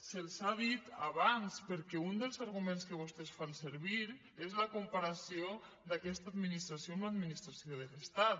se’ls ha dit abans perquè un dels arguments que vostès fan servir és la comparació d’aquesta administració amb l’administració de l’estat